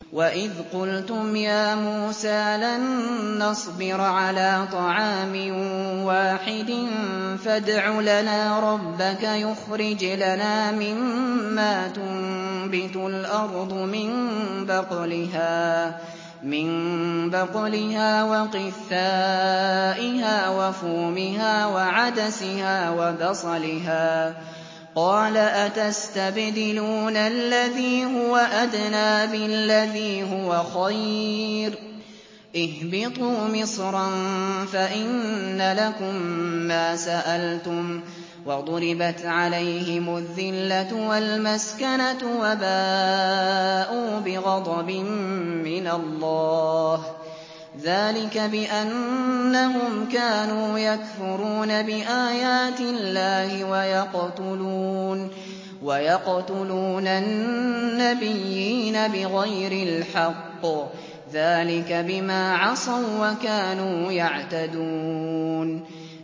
وَإِذْ قُلْتُمْ يَا مُوسَىٰ لَن نَّصْبِرَ عَلَىٰ طَعَامٍ وَاحِدٍ فَادْعُ لَنَا رَبَّكَ يُخْرِجْ لَنَا مِمَّا تُنبِتُ الْأَرْضُ مِن بَقْلِهَا وَقِثَّائِهَا وَفُومِهَا وَعَدَسِهَا وَبَصَلِهَا ۖ قَالَ أَتَسْتَبْدِلُونَ الَّذِي هُوَ أَدْنَىٰ بِالَّذِي هُوَ خَيْرٌ ۚ اهْبِطُوا مِصْرًا فَإِنَّ لَكُم مَّا سَأَلْتُمْ ۗ وَضُرِبَتْ عَلَيْهِمُ الذِّلَّةُ وَالْمَسْكَنَةُ وَبَاءُوا بِغَضَبٍ مِّنَ اللَّهِ ۗ ذَٰلِكَ بِأَنَّهُمْ كَانُوا يَكْفُرُونَ بِآيَاتِ اللَّهِ وَيَقْتُلُونَ النَّبِيِّينَ بِغَيْرِ الْحَقِّ ۗ ذَٰلِكَ بِمَا عَصَوا وَّكَانُوا يَعْتَدُونَ